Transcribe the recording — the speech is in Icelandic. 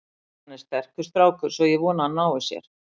Hann er sterkur strákur, svo ég vona að hann nái sér.